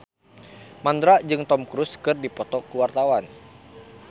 Mandra jeung Tom Cruise keur dipoto ku wartawan